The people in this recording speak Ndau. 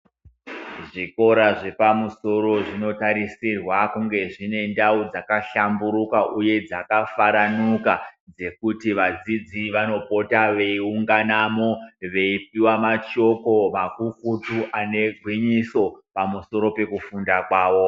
Zvikora zvepamusoro zvino tarisirwa kuti zvinge zvine ndau dzakahlamburuka uye dzajafaranuka zvekuti vadzidzi vanopota veinganamo veipuwa mashoko makukutu ane gwinyiso pamusoro pekufunda kwawo.